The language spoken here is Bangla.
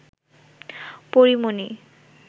পরী মণি